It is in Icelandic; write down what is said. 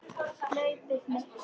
Hlaupið mikla